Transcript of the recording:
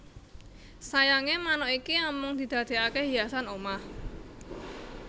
Sayange manuk iki amung didadekake hiasan omah